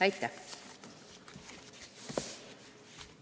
Aitäh!